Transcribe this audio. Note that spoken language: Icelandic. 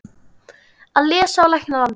Að lesa og lækna landið.